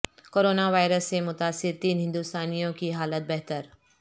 corona virus سے متاثر تین ہندوستانیوں کی حالت بہتر